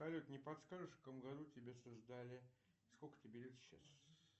салют не подскажешь в каком году тебя создали сколько тебе лет сейчас